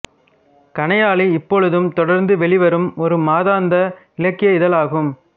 கணையாழி இப்பொழுதும் தொடர்ந்து வெளிவரும் ஒரு மாதாந்த இலக்கிய இதழாகும்